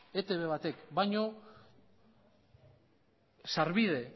etb batek baino sarbide